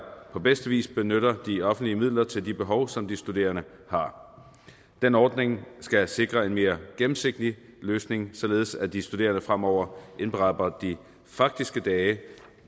på bedste vis benytter de offentlige midler til de behov som de studerende har den ordning skal sikre en mere gennemsigtig løsning således at de studerende fremover indberetter de faktiske dage